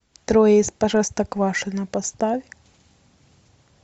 трое из простоквашино поставь